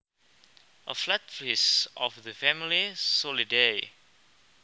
A flatfish of the family Soleidae